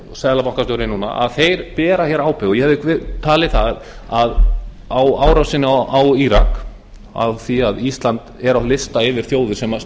seðlabankastjóri núna bera hér ábyrgð og ég hefði talið að á árásinni á írak af því að ísland er á lista yfir þjóðir sem